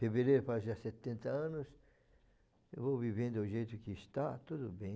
Fevereiro faz já setenta anos, eu vou vivendo do jeito que está, tudo bem.